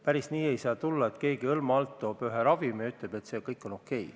Päris nii ei saa, et keegi hõlma all toob Eestisse mingi ravimi ja ütleb, et see on okei.